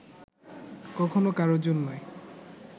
কখনো কারো জন্যে